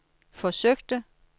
forsøgte